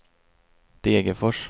Degerfors